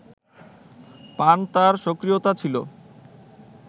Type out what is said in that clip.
পান তার সক্রিয়তা ছিল